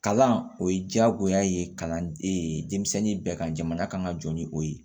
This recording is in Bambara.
Kalan o ye diyagoya ye kalan denmisɛnnin bɛɛ kan jamana kan ka jɔ ni o ye